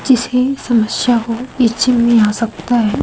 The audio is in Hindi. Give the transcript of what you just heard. जिसके समस्या हो पीछे मे आ सकता है।